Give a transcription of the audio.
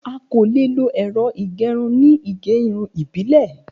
A ko lo ẹ̀rọ ìgẹrun ni ige irun Ibile.